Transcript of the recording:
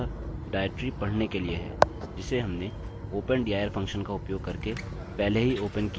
अतः यह मूलतः डाइरेक्टरी पढ़ने के लिए है जिसे हमने open dir फंक्शन का उपयोग करके पहले ही ओपन किया था